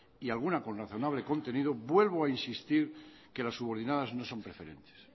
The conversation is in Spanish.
y alguna con razonable contenido vuelvo a insistir que las subordinadas no son preferentes